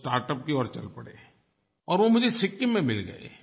वो स्टार्टअप की ओर चल पड़े और वो मुझे सिक्किम में मिल गए